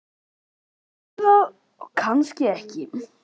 Kannski ertu það og kannski ekki.